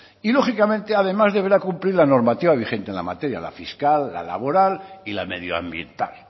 y lógicamente además deberá cumplir la normativa vigente en la materia la fiscal la laboral y la medioambiental